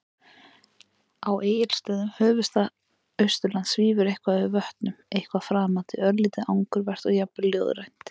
Á Egilsstöðum, höfuðstað Austurlands, svífur eitthvað yfir vötnum- eitthvað framandi, örlítið angurvært og jafnvel ljóðrænt.